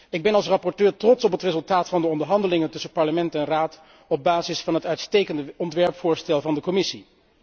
Ik ben als rapporteur trots op het resultaat van de onderhandelingen tussen Parlement en Raad op basis van het uitstekende voorstel van de Commissie.